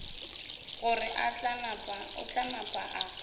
gore o tla napa a